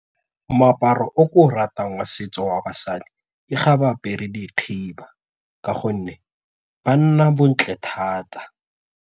Moaparo o ke o ratang wa setso wa basadi e ga ba apere dikhiba ka gonne ba nna bontle thata.